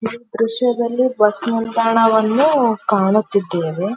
ಈ ದ್ರಶ್ಯದಲ್ಲಿ ಬಸ್ ನಿಲ್ದಾಣವನ್ನು ಕಾಣುತ್ತಿದ್ದೇವೆ.